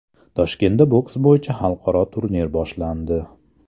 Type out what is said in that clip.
Toshkentda boks bo‘yicha xalqaro turnir boshlandi.